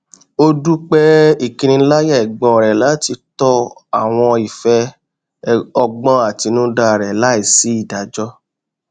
ó dúpẹ ìkiniláyà ẹgbọn rẹ láti tọ àwọn ìfẹ ọgbọn àtinúdá rẹ láì sí ìdájọ